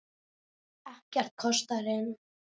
Ekkert kostar inn.